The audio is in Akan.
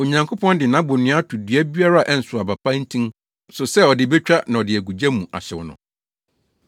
Onyankopɔn de nʼabonnua ato dua biara a ɛnsow aba pa ntin so sɛ ɔde betwa na ɔde agu gya mu ahyew no.